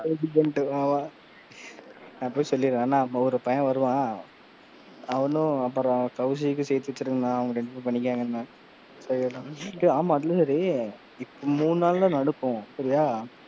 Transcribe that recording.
ஆமா நான் போய் சொல்லிரன் அண்ணா ஒரு பையன் வருவான் அவனும் அப்புறம் கௌசிக்கும் சேத்தி வெச்சுருங்க அண்ணா அவனுக ரெண்டு பெரும் பண்ணிப்பாங்க, டேய் ஆமா அதெல்லாம் சேரி மூணு நாள் தான் அனுப்புவோம் சரியா?